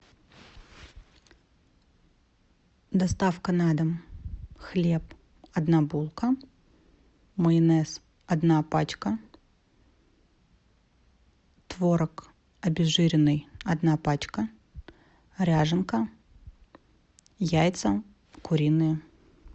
доставка на дом хлеб одна булка майонез одна пачка творог обезжиренный одна пачка ряженка яйца куриные